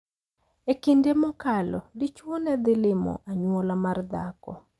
E kinde mokalo, dichuo ne dhi limo anyuola mar dhako .